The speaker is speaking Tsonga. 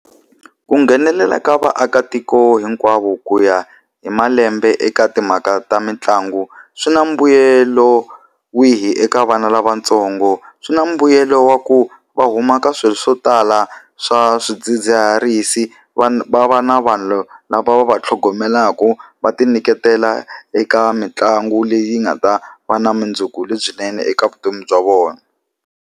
Ku nghenelela ka vaakatiko hinkwavo ku ya hi malembe eka timhaka ta mitlangu swi na mbuyelo wihi eka vana lavatsongo? Swi na mbuyelo wa ku va humaka swilo swo tala swa swidzidziharisi va va va na vanhu lava va va tlhogomela mhaka va ti nyiketela eka mitlangu leyi nga ta va na vumundzuku lebyinene eka vutomi bya vona.